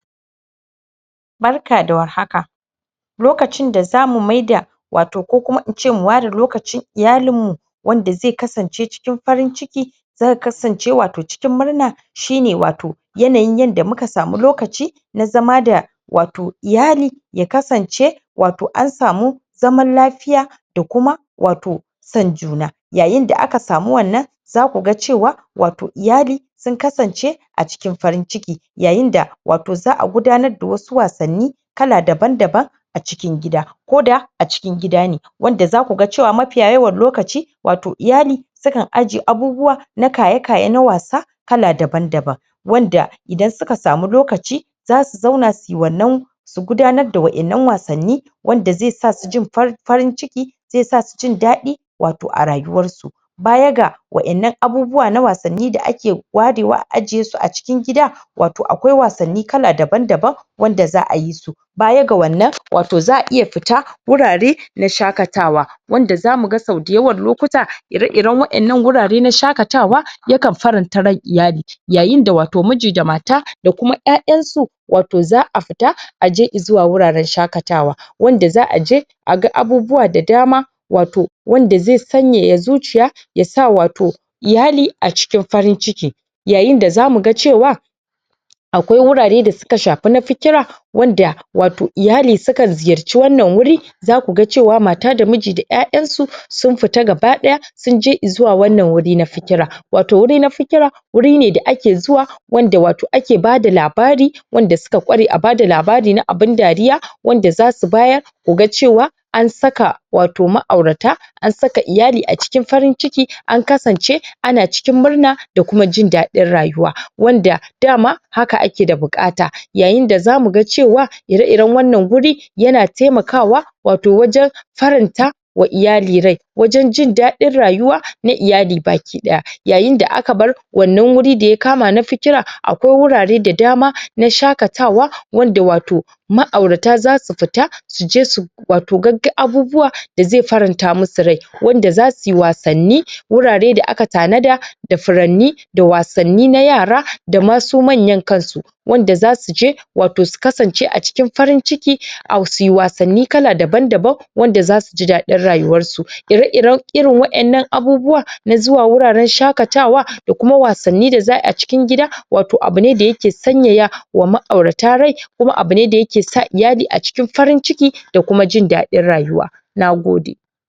Barka da war haka lokacin da zamu maida wato ko kuma ince mu ware lokacin iyalinmu wanda ze kasance cikin farin ciki zaka kasance wato cikin murna shine wato yanayin yanda muka samu lokaci na zama da wato iyali ya kasance wato an samu zaman lafiya da kuma wato son juna, yaayinda aka samu wannan, za kuga cewa wato iyali sun kasance a cikin farin ciki, yaayinda wato za'a gudanar da wasu wasanni kala daban-daban a cikin gida, koda a cikin gida ne wadda zakuga cewa mafiya yawan lokaci wato iyali sukan ajiye abubuwa na kaye-kaye na wasa kala daban-daban wanda idan suka samu lokaci zasu zauna suyi wannan gudanar na wa'innan wasanni wanda ze sasu jin farin ciki ze sasu jindaɗi wato a rayuwarsu ba yaga wa'innan abubuwa na wasanni da ake warewa a ajiyesu a cikin gida wato akwai wasanni kala daban-daban wanda za'ayi su baya ga wannan, wato za'a iya fita wurare na shaƙatawa wanda za muga sau dayawan lokuta ire-iren waƴannan gurare na shaƙatawa yakan faranta ran iyali yaayindawato miji da mata da kuma 'yayansu wato za'a fita aje izuwa guraran shaƙatawa wanda za'aje a ga abubuwa da dama, wato wanda ze sanyaya zuciya yasa wato iyali a cikin farin-ciki yaayindaza muga cewa akwai wurare da suka shafi na fikira wanda wato iyali sukan ziyarci wannan wuri za kuga cewa mata da miji da 'yayansu sun fita gaba daya sunje izuwa wannan wuri na fikira wato wuri na fikira, wuri ne da ake zuwa wanda wato ake bada labari, wanda suka kware a bada labari na abin dariya wanda zasu bayar kaga cewa an saka wato ma'aurata, an saka iyali a cikin farin-ciki an kasance ana cikin murna da kuma jindaɗin rayuwa wanda dama haka ake da bukata. Yaayinda za muga cewa ire-iren wannan wuri yana taima kawa wato wajan faranta wa iyali rai wajan jindaɗin rayuwa na iyali baki daya Yayinda aka bar wannan wuri daya kama na fikira akwai wurare da dama na shaƙatawa wanda wato ma'aurata zasu fita suje su wato gagga abubuwa da ze faranta musu rai wanda zasuyi wasanni, wurare da aka tanada da furanni, da wasanni na yara dama su manyan kansu wanda zasuje wato su kasance a cikin farin-ciki au suyi wasanni kala daban-daban wanda zasu ji dadin rayuwarsu. Ire-iren irin waƴannan abubuwa na zuwa wuraran shaƙatawa da kuma wasanni da za'ayi a cikin gida, wato abune da yaje sanyaya wa ma'aurata rai kuma abune da yake sa iyali a cikin farin ciki da kuma jindaɗin rayuwa, Nagode.